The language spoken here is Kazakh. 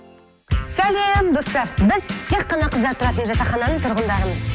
сәлем достар біз тек қана қыздар тұратын жатақхананың тұрғындарымыз